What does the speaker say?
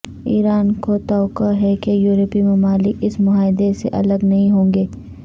ایران کو توقع ہے کہ یورپی ممالک اس معاہدے سے الگ نہیں ہوں گے